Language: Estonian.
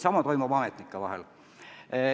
Samasugune suhtlus toimub ametnike vahel.